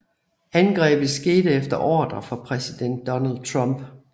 Angrebet skete efter ordre fra præsident Donald Trump